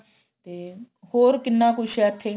ਤੇ ਹੋਰ ਕਿੰਨਾ ਕੁੱਝ ਏ ਇੱਥੇ